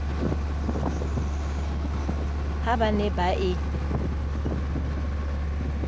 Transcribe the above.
ha ba ne ba e